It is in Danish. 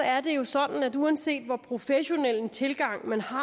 er det jo sådan at uanset hvor professionel en tilgang man har